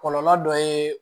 Kɔlɔlɔ dɔ ye